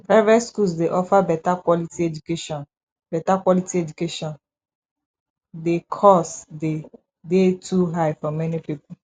private schools dey offer beta quality education beta quality education di cost dey dey too high for many people